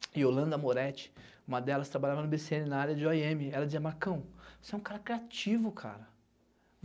E Yolanda Moretti, uma delas trabalhava no bê cê ene na área de ó i eme, ela dizia, Marcão, você é um cara criativo, cara.